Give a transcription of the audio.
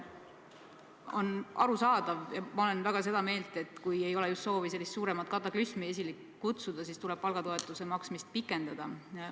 On arusaadav ja ma olen väga seda meelt, et kui ei ole soovi suuremat kataklüsmi esile kutsuda, siis tuleb palgatoetuse maksmist pikendada.